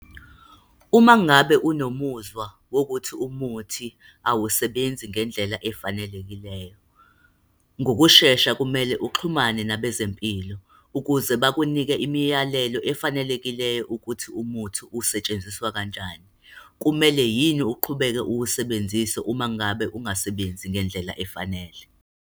Uma ngabe unomuzwa wokuthi umuthi awusebenzi ngendlela efanelekileyo, ngokushesha, kumele uxhumane nabezempilo, ukuze bakunike imiyalelo efanelekileyo ukuthi umuthi usetshenziswa kanjani. Kumele yini uqhubeke uwusebenzise uma ngabe ungasebenzi ngendlela efanele.